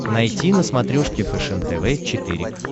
найти на смотрешке фэшен тв четыре к